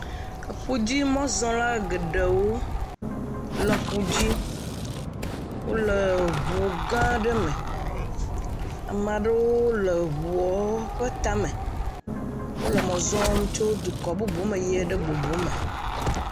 Eƒudzimɔzɔlawo geɖewo le aƒu dzi. Wòle ʋu gã aɖe me. Ame aɖewo le eʋua ƒe tame. Wòle mɔ zɔm tso dukɔ bubu me yie ɖe bubu me.